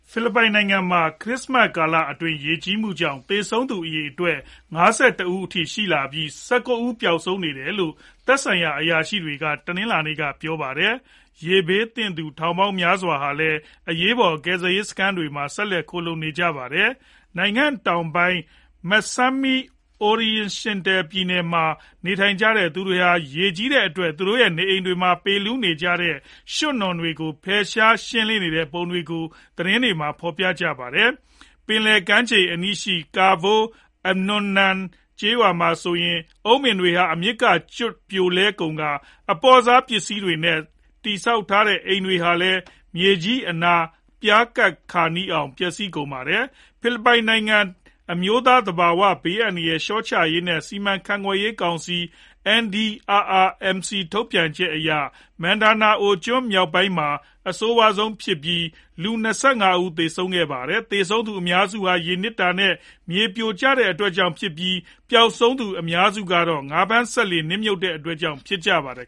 ဖိလစ်ပိုင်နိုင်ငံမှာ ခရစ္စမတ် ကာလ ရေကြီးမှုကြောင့် သေဆုံးသူ အရေအတွက် ၅၁ ဦးအထိရှိလာပြီး ၁၉ ဦး ပျောက်ဆုံးနေတယ်လို့ သက်ဆိုင်ရာ အရာရှိတွေက တနင်္လာနေ့က ပြောပါတယ်။ ရေဘေးသင့်သူ ထောင်ပေါင်းများစွာဟာလည်း အရေးပေါ် ကယ်ဆယ်ရေးစခန်းတွေမှာ ဆက်လက် ခိုလှုံနေကြရတာပါ။ နိုင်ငံတောင်ပိုင်း Misamis Occidental ပြည်နယ်မှာ နေထိုင်ကြသူတွေဟာ ရေကြီးတဲ့အတွက် သူတို့ရဲ့ နေအိမ်တွေမှာ ပေလူးနေကြတဲ့ ရွှံ့နွံတွေကို ဖယ်ရှား ရှင်းလင်းနေကြတဲ့ပုံတွေကို သတင်းတွေမှာ ဖော်ပြကြပါတယ်။ ပင်လယ်ကမ်းခြေအနီး Cabol anonan ကျေးရွာမှာဆိုရင် အုန်းပင်းတွေ အမြစ်ကနေကျွတ် ပြိုလဲကုန်ကာ အပေါ့စားပစ္စည်တွေနဲ့ တည်ဆောက်ထားတဲ့ အိမ်တွေဟာလည်း မြေကြီးအနား ပြားကပ်ခါနီးအောင် ပျက်စီးကုန်ပါတယ်။ ဖိလစ်ပိုင်နိုင်ငံ အမျိုးသား သဘာဝ ဘေးအန္တရာယ် လျှော့ချရေး နဲ့ စီမံခန့်ခွဲရေး ကောင်စီ NDRRMC ထုတ်ပြန်ချက်အရ Mindanao မြောက်ပိုင်းဒေသမှာ အဆိုးဝါးဆုံးဖြစ်ပြီး လူ ၂၅ ဦးသေဆုံးခဲ့ပါတယ်။ သေဆုံးသူ အများစုဟာ ရေနစ်တာ နဲ့ မြေပြိုကျတဲ့အတွက်ကြောင့်ဖြစ်ပြီး ပျေက်ဆုံးသူတွေထဲမှာ အများစုကတော့ ငါးဖမ်းစက်လှေ နစ်မြုပ်တဲ့အတွက်ကြောင့် ဖြစ်ကြပါတယ်